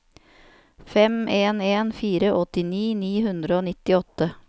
fem en en fire åttini ni hundre og nittiåtte